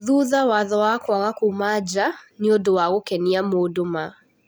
Thutha watho wa kwaga kuuma nja, nĩũndũ wa gũkenia mũndũ maa".